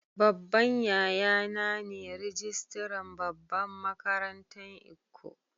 Babban yaya na ne rijistiran babban makarantan lkko.